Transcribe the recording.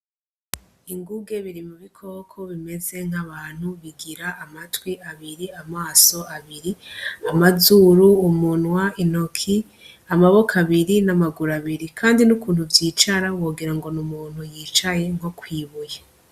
Inguge biri mubi koko bimeze nk'abantu bigira amatwi abiri, amaso abiri, amazuru, umunwa, intoki, amaboko abiri n' amaguru abiri kandi n' ukuntu vyicara wogira ngo ni umuntu yicaye kw' ibuye.